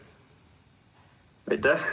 Protseduuriline küsimus.